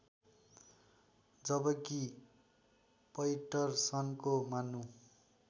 जबकि पैटरसनको मान्नु